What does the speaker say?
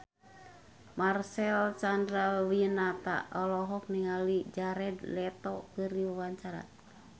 Marcel Chandrawinata olohok ningali Jared Leto keur diwawancara